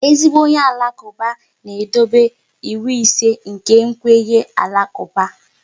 Ezigbo onye Alakuba na-edobe ịwụ ise nke kwenye Alakuba